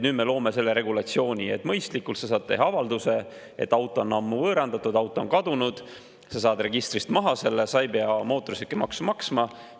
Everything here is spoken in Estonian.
Nüüd me loome selle regulatsiooni, et mõistlikult saab teha avalduse, et auto on ammu võõrandatud, auto on kadunud, saab selle registrist maha ja ei pea mootorsõidukimaksu maksma.